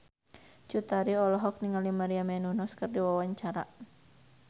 Cut Tari olohok ningali Maria Menounos keur diwawancara